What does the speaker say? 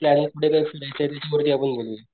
Plan कुठे काय फिरायचं त्यावरती आपण बोलूया.